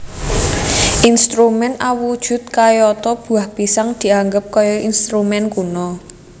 Instrumen awujud kayata buah pisang dianggap kaya instrumen kuno